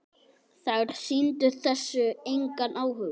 Þær sýndu þessu engan áhuga.